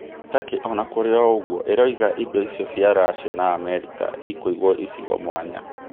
Takĩ ona kũrĩ o ũguo ĩrauga indo icio cia Racia na Amerika ikũiguo icigo mwanya.